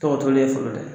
Tɔgɔ ye fɔlɔ dɛ